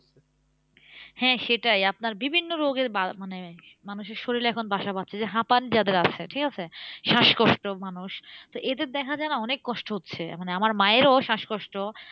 হ্যাঁ সেটাই আপনার বিভিন্ন রোগের মানে মানুষের শরীরে এখন বাসা বাঁধছে। যে হাঁপান যাদের আছে, ঠিকাছে? শ্বাসকষ্ট মানুষ, তো এদের দেখা যায় না অনেক কষ্ট হচ্ছে। মানে আমার মায়েরও শ্বাসকষ্ট